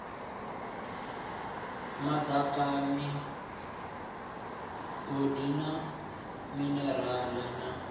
madaka migodi na minerale na